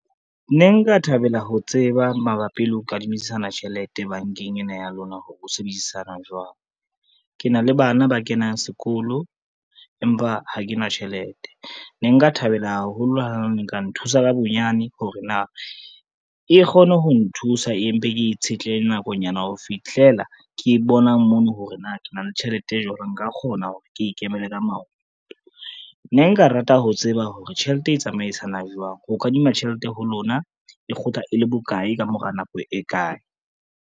Ne nka thabela ho tseba mabapi le ho kadimisana tjhelete bankeng ena ya lona hore ho sebedisana jwang. Ke na le bana ba kenang sekolo, empa ha ke na tjhelete, ne nka thabela haholo ha ne nka nthusa ka bonyane hore na e kgone ho nthusa, empe ke itshetlehe nakonyana ho fihlela ke bona mono hore na ke na le tjhelete jwale, nka kgona hore ke ikemele ka maoto. Ne nka rata ho tseba hore tjhelete e tsamaisanang jwang, ho kadima tjhelete ho lona e kgutla e le bokae, ka mora nako e kae.